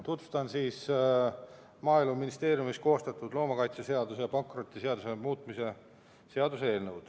Tutvustan Maaeluministeeriumis koostatud loomakaitseseaduse ja pankrotiseaduse muutmise seaduse eelnõu.